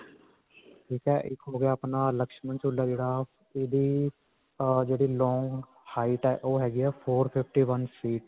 ਠੀਕ ਹੈ. ਇਕ ਹੋ ਗਿਆ ਆਪਣਾ Lakshman ਝੂਲਾ, ਜਿਹੜਾ ਇਹਦੇ ਅਅਅ ਜਿਹੜੇ long height ਹੈ ਓਹ ਹੈਗੀ ਹੈ four fifty-one feet.